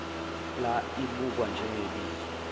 pla ibukwa njengebizo